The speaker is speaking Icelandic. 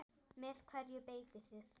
Með hverju beitið þið?